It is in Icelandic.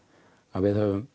að við höfum